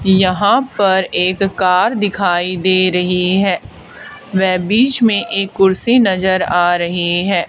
यहां पर एक कार दिखाई दे रही है व बीच में एक कुर्सी नजर आ रही है।